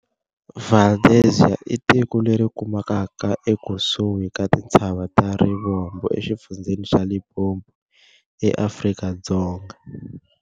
Valdezia i tiko leri kumekaka ekusihi ka tintshava ta Rivombo exifundzheni xa Limpopo, eAfrika-Dzonga.